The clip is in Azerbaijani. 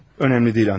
Önəmli deyil, Andrey.